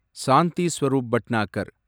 Shanti Swarup Bhatnagar